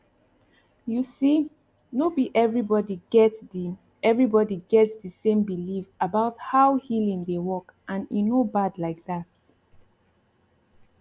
you see no be everybody get the everybody get the same belief about how healing dey workand e no bad like that